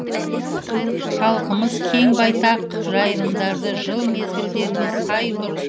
халқымыз кең байтақ жайылымдарды жыл мезгілдеріне сай дұрыс әрі тиімді